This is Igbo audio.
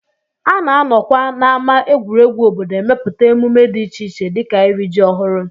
A na-anọkwa n'ámá egwuregwu obodo emepụta emume dị iche iche dịka iri ji ọhụrụ